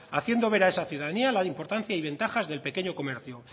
haciendo ver a esa ciudadanía la importancia y ventajas del pequeño comercio